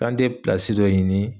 K'an te dɔ ɲini?